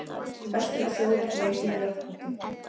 Best er að sjóða blekið í járnpotti.